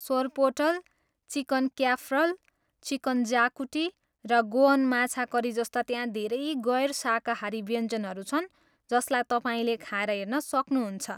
Sorpotel, chicken cafreal, chicken xacuti, र Goan माछा curry जस्ता त्यहाँ धेरै गैर शाकाहारी व्यञ्जनहरू छन् जसलाई तपाईँले खाएर हेर्न सक्नुहुन्छ।